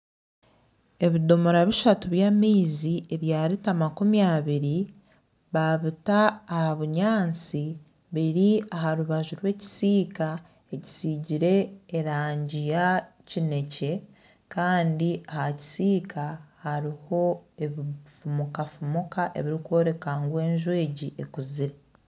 Ebidomora bishatu by'amaizi ebya rita makumi abiri baabita aha bunyaasi biri aha rubaju rw'ekisiika ekisiigire erangi ya kinekye. Kandi aha kisiika hariho ebifumukafumuka ebirikworeka ngu enju egi ekuzire.